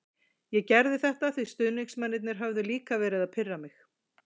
Ég gerði þetta því stuðningsmennirnir höfðu líka verið að pirra mig.